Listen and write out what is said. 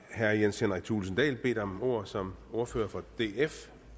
herre jens henrik thulesen dahl bedt om ordet som ordfører for